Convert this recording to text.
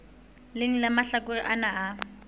leng la mahlakore ana a